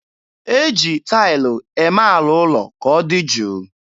E ji taịlụ eme ala ụlọ ka ọ dị jụụ.